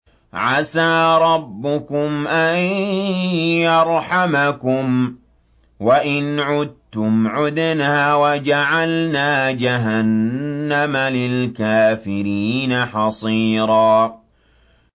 عَسَىٰ رَبُّكُمْ أَن يَرْحَمَكُمْ ۚ وَإِنْ عُدتُّمْ عُدْنَا ۘ وَجَعَلْنَا جَهَنَّمَ لِلْكَافِرِينَ حَصِيرًا